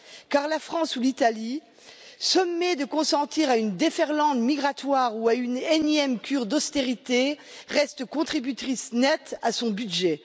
Car la France ou l'Italie, sommées de consentir à une déferlante migratoire ou à une énième cure d'austérité, restent contributrices nettes à son budget.